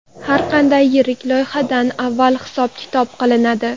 Har qanday yirik loyihadan avval hisob-kitob qilinadi.